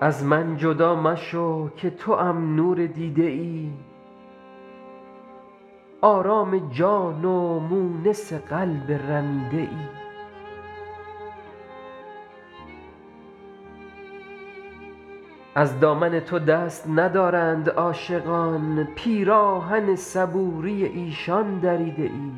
از من جدا مشو که توام نور دیده ای آرام جان و مونس قلب رمیده ای از دامن تو دست ندارند عاشقان پیراهن صبوری ایشان دریده ای